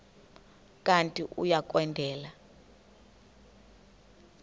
kanti uia kwendela